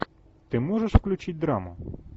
ты можешь включить драму